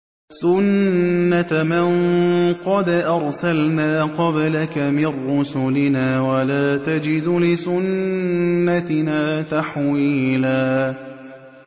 سُنَّةَ مَن قَدْ أَرْسَلْنَا قَبْلَكَ مِن رُّسُلِنَا ۖ وَلَا تَجِدُ لِسُنَّتِنَا تَحْوِيلًا